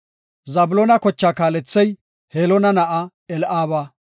Zabloona kochaa kaalethey Heloona na7aa Eli7aaba.